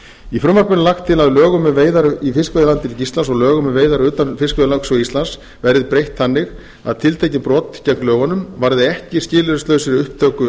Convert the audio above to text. í frumvarpinu er lagt til að lögum um veiðar í fiskveiðilandhelgi íslands og lögum um veiðar utan fiskveiðilögsögu íslands verði breytt þannig að tiltekin brot gegn lögunum varði ekki skilyrðislausri upptöku